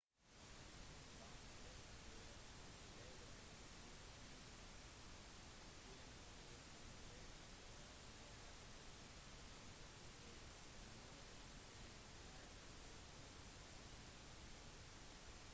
vannmolekyler lager en usynlig film på vannflaten som gjør at ting som f.eks nålen kan flyte på toppen av vannet